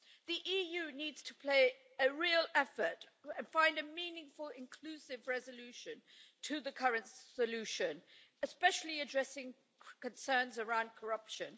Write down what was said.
The EU needs to play a real effort to find a meaningful inclusive resolution to the current solution, especially addressing concerns around corruption.